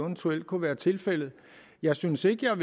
eventuelt kunne være tilfældet jeg synes ikke at